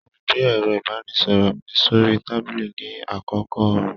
Mo gbé ẹrọ ibanisọrọ mí sori tábìlì ní àkókò oòrùn.